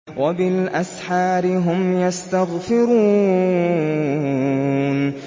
وَبِالْأَسْحَارِ هُمْ يَسْتَغْفِرُونَ